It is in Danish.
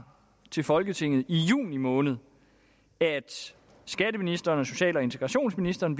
til folketinget i juni måned at skatteministeren og social og integrationsministeren